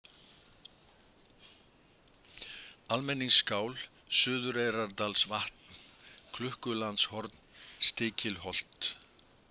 Almenningsskál, Suðureyrardalsvatn, Klukkulandshorn, Stikilholt